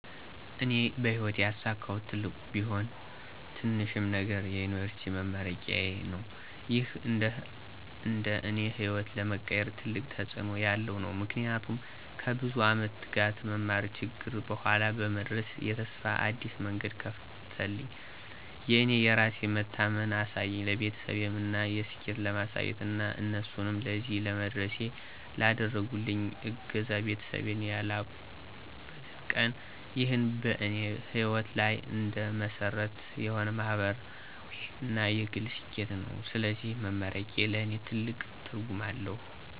እኔ በሕይወቴ ያሳካሁት ትልቅም ቢሆን ትንሽም ነገር የዩኒቨርሲቲ መመረቄዬ ነው። ይህ እንደ እኔ ሕይወት ለመቀየር ትልቅ ተጽእኖ ያለው ነው። ምክንያቱም ከብዙ ዓመት ትጋት፣ መማርና ችግር በኋላ በመድረስ የተስፋ አዲስ መንገድ ከፈተልኝ። የእኔ የራሴን መታመን አሳየኝ፣ ለቤተሰቤም የእኔን ስኬት ለማሳየት እና እነሱንም ለዚህ ለመድረሴ ላደረጉልኝ እገዛ ቤተሰቤን ያላቁበት ቀን ነው። ይህ በእኔ ሕይወት ላይ እንደ መሰረት የሆነ ማህበራዊ እና የግል ስኬቴ ነው። ስለዚህ መመረቄ ለእኔ ትልቅ ትርጉም አለው።